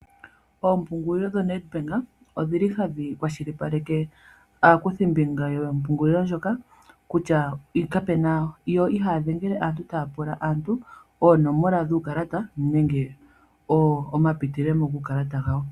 Oompungulilo dhoNedbank odhili hadhi kwashilipaleke aakuthimbinga yompungulilo ndjoka kutya , yo ihaya dhengele aantu taya pula aantu oonomola dhuukalata nenge oma pitilemo guukalata gawo.